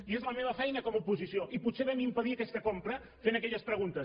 i és la meva feina com a oposició i potser vam impedir aquesta compra fent aquelles preguntes